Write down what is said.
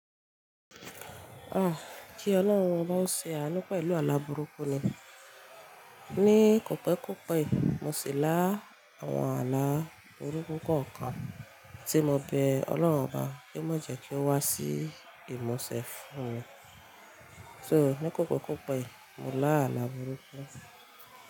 Ah! Kí Ọlọ́run bá ń ṣe àanu pelu àlá burúkú ni. Ni kòpékòpé yi mo ṣè lá àwọn àlá burúkú kọ̀ọ̀kan tí mo bẹ Ọlọ́run obá kí ó má jẹ́ kí ó wá sí ìmúṣe fún mi. So ní kòpékòpé mo lá àlá burúkú.